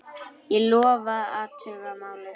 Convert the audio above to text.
Ég lofa að athuga málið.